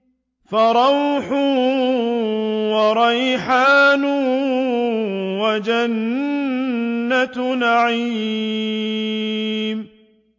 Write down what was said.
فَرَوْحٌ وَرَيْحَانٌ وَجَنَّتُ نَعِيمٍ